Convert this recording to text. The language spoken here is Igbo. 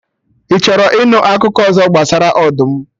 Ị chọrọ ịnụ akụkọ ọzọ gbasara ọdụm?